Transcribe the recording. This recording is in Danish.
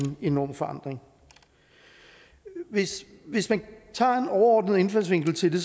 enorm forandring hvis hvis man tager en overordnet indfaldsvinkel til det